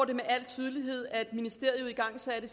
det med al tydelighed at ministeriet igangsatte